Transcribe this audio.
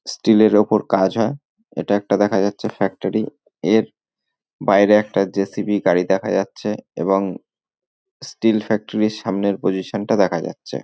Still এর উপর কাজ হয় এটা একটা দেখা যাচ্ছে ফ্যাক্টরি এর বাইরে একটা জেসিবি গাড়ি দেখা যাচ্ছে এবং স্টিল ফ্যাক্টরি সামনের পজিশন টা দেখা যাচ্ছে।